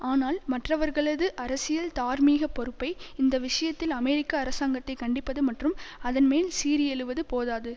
ஆனால் மற்றவர்களது அரசியல் தார்மீக பொறுப்பை இந்த விஷயத்தில் அமெரிக்க அரசாங்கத்தை கண்டிப்பது மற்றும் அதன்மேல் சீறி எழுவது போதாது